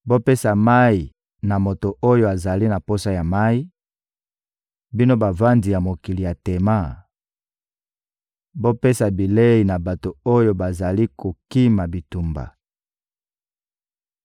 Bopesa mayi na moto oyo azali na posa ya mayi; bino bavandi ya mokili ya Tema, bopesa bilei na bato oyo bazali kokima bitumba.